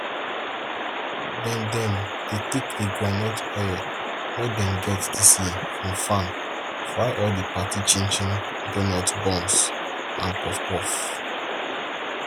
dem dem dey take the groundnut oil wey dem get dis year from farm fry all the party chinchin donut buns and puffpuff